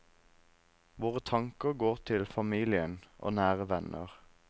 Våre tanker går til familien og nære venner.